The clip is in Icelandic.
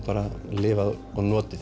lifað og notið